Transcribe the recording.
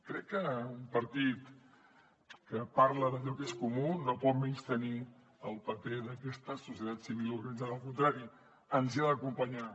crec que un partit que parla d’allò que és comú no pot menystenir el paper d’aquesta societat civil organitzada al contrari ens hi ha d’acompanyar